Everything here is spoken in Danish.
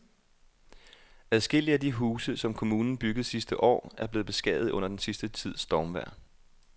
Adskillige af de huse, som kommunen byggede sidste år, er blevet beskadiget under den sidste tids stormvejr.